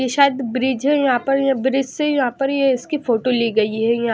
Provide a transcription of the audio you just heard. ये शायद ब्रिज है यहां पर ये ब्रिज से यहां पर ये इसकी फोटो ली गई है यहाँ --